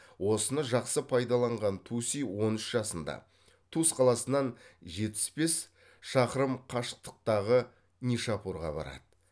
осыны жақсы пайдалаған туси он үш жасында тус қаласынан жетпіс бес шақырым қашықтықтағы нишапурға барады